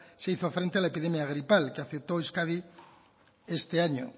se hizo frente a la epidemia gripal que afectó a euskadi este año